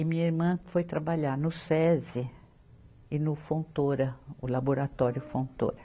E minha irmã foi trabalhar no Sesi e no Fontoura, o Laboratório Fontoura.